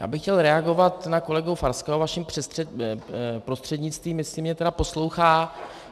Já bych chtěl reagovat na kolegu Farského vaším prostřednictvím, jestli mě tedy poslouchá.